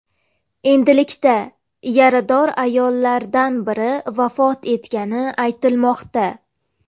Endilikda yarador ayollardan biri vafot etgani aytilmoqda.